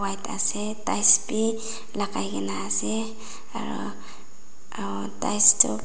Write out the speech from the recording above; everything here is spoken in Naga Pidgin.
white ase ties bi lakai kae na ase aro uhh ties tu--